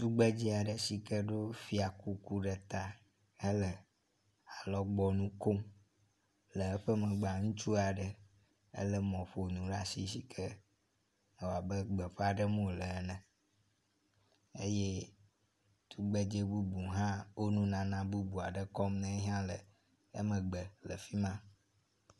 Tugbedze aɖe si ke ɖɔ fiakuku ɖe ta hele alɔgbɔnukom le eƒe megbea, ŋutsu aɖe lé mɔƒonu ɖe asi si ke ewɔ abe gbeƒa ɖem wole ene eye tugbedze bubu hã wo nunana bubu aɖe kɔm ne yehã le emegbe le fi ma.